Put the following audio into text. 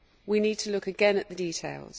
We need to look again at the details.